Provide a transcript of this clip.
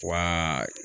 Wa